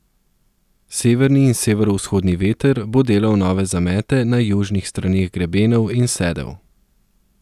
Severni in severovzhodni veter bo delal nove zamete na južnih straneh grebenov in sedel.